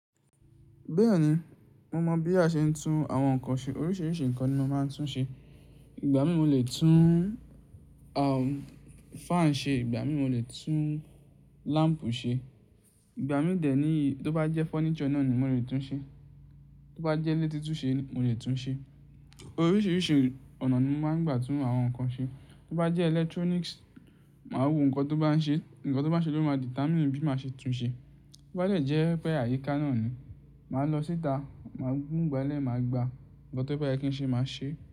Bẹ́ẹ̀ni, mo mọ̀ bí a ṣe ń tún àwọn nǹkan ṣe. Oríṣiríṣi nǹkan ni mo máa ń tún ṣe. Ìgbà mi mo lè tún, um, fan ṣe, ìgbà mi mo lè tún lamp ṣe. Ìgbà mi dè ní, tó bá jẹ́ furniture náà ni mo lè tún ṣe. Tó bá jẹ́ ni tí tún ṣe ni, mo lè tún ṣe. Oríṣiríṣi ọ̀nà ni mo máa ń gbà tún àwọn nǹkan ṣe. Tó bá jẹ́ electronics, màá wo nǹkan tó bá n ṣe. Nǹkan tó bá ṣe ló máa determine bí màá ṣe tún ṣe. Tó bá jẹ́ pẹ̀ áyíká náà ni, màá lọ síta, má mu ìgbalẹ̀, màá gbá a. Nkan tó bá yẹ́ kí n ṣe, màá ṣe.